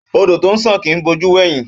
Ódò tọ ńṣàn kì í bò jú wẹ̀hìn.